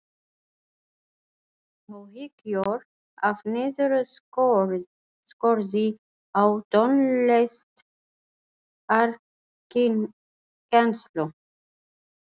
Áhyggjur af niðurskurði á tónlistarkennslu